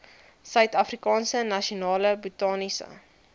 suidafrikaanse nasionale botaniese